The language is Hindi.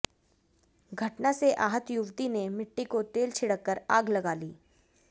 घटना से आहत युवती ने मिट्टी का तेल छिड़कर आग लगा ली